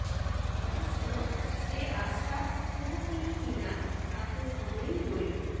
অবশ্য সে আশা কুহকিনী কিনা তা তো সময়ই বলবে